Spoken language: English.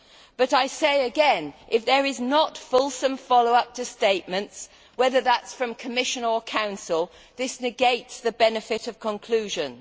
But I say again that, if there is not fulsome follow up to statements, whether from the Commission or Council, this negates the benefit of conclusions.